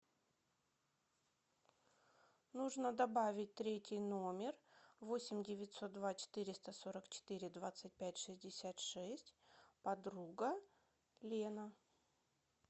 нужно добавить третий номер восемь девятьсот два четыреста сорок четыре двадцать пять шестьдесят шесть подруга лена